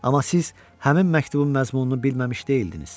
Amma siz həmin məktubun məzmununu bilməmiş deyldiniz.